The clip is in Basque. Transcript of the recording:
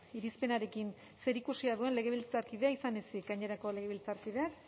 irizpenarekin zer ikusia duen legebiltzarkidea izan ezin gainerako legebiltzarkideak